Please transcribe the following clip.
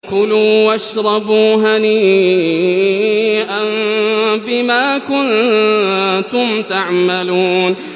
كُلُوا وَاشْرَبُوا هَنِيئًا بِمَا كُنتُمْ تَعْمَلُونَ